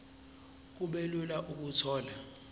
kube lula ukuthola